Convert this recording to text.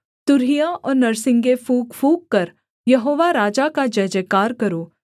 तुरहियां और नरसिंगे फूँक फूँककर यहोवा राजा का जयजयकार करो